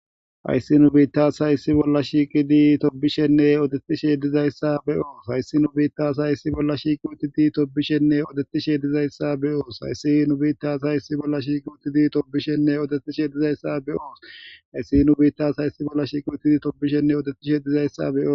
Hayssi nu biththaa asay issi bolla shiiqide toophphisheenne odeththisheeddazayssa be7oos; hayssi nu biththaa asay issi bolla shiiqide toophphisheenne odeththisheeddazayssa be7oos; hayssi nu biththaa asay issi bolla shiiqide toophphisheenne odeththisheeddazayssa be7oos; hayssi nu biththaa asay issi bolla shiiqide toophphisheenne odeththisheeddazayssa be7oos; hayssi nu biththaa asay issi bolla shiiqide toophphisheenne odeththisheeddazayssa be7oos.